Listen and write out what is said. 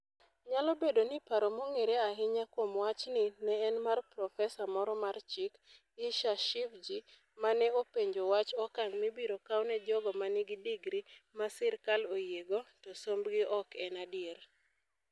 Nyalo bedo ni paro mong'ere ahinya kuom wachni ne en mar Profesa moro mar Chik, Issa Shivji, ma ne openjo wach okang ' mibiro kaw ne jogo ma nigi digri ma sirkal oyiego, to sombgi ok en adier.